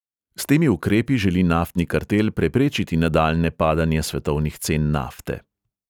S temi ukrepi želi naftni kartel preprečiti nadaljnje padanje svetovnih cen nafte.